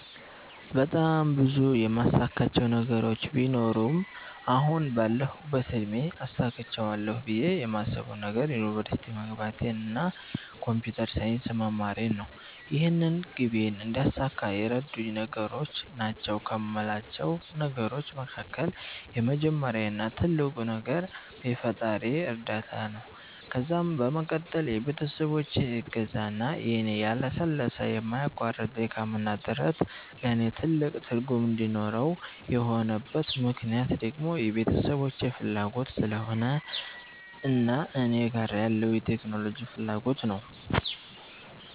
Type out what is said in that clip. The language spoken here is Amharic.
በጣም ብዙ የማሳካቸው ነገሮች ቢኖሩም አሁን ባለሁበት እድሜ አሳክቸዋለሁ ብየ የማስበዉ ነገር ዩኒቨርሲቲ መግባቴን እና ኮንፒተር ሳይንስ መማሬን ነው። ይህንን ግቤን እንዳሳካ የረዱኝ ነገሮች ናቸዉ ከሞላቸው ነገሮች መካከል የመጀመሪያው እና ትልቁ ነገር የፈጣሪየ እርዳታ ነዉ ከዛም በመቀጠል የቤተሰቦቼ እገዛ እና የኔ ያለሰለሰ የማያቋርጥ ድካምና ጥረት ነዉ። ለኔ ትልቅ ትርጉም እንዲኖረው የሆነበት ምክነያት ደግሞ የቤተሰቦቼ ፋላጎት ስለሆነ እና እኔ ጋር ያለዉ የቴክኖሎጂ ፋላጎት ነዉ።